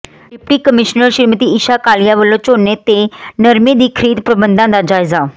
deputy commissioner Shrimati Isha Kalia ਵਲੋਂ ਝੋਨੇ ਤੇ ਨਰਮੇ ਦੀ ਖ਼ਰੀਦ ਪ੍ਰਬੰਧਾਂ ਦਾ ਜਾਇਜ਼ਾ